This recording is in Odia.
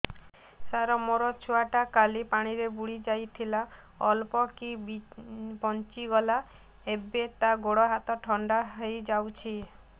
ସାର ମୋ ଛୁଆ ଟା କାଲି ପାଣି ରେ ବୁଡି ଯାଇଥିଲା ଅଳ୍ପ କି ବଞ୍ଚି ଗଲା ଏବେ ତା ଗୋଡ଼ ହାତ ଥଣ୍ଡା ହେଇଯାଉଛି